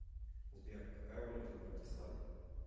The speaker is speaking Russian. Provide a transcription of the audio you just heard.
сбер какая валюта в братиславе